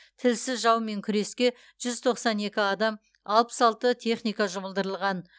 тілсіз жаумен күреске жүз тоқсан екі адам алпыс алты техника жұмылдырылған